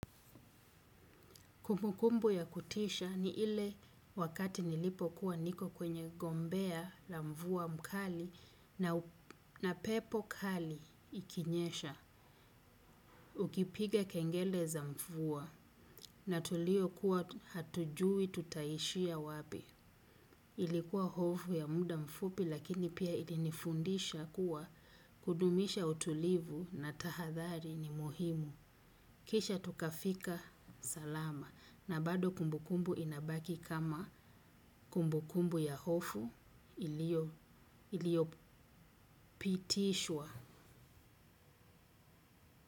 Kumbukumbu ya kutisha ni ile wakati nilipokuwa niko kwenye gombea la mvuwa mkali na pepo kali ikinyesha. Ukipiga kengele za mvuwa na tulio kuwa hatujui tutaishia wapi. Ilikuwa hofu ya muda mfupi lakini pia ilinifundisha kuwa kudumisha utulivu na tahadhari ni muhimu. Kisha tukafika salama na bado kumbukumbu inabaki kama kumbukumbu ya hofu iliyo pitishwa.